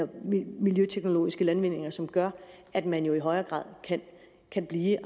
miljøteknologiske landvindinger som gør at man jo i højere grad kan blive